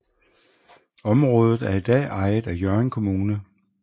Området er i dag ejet af Hjørring Kommune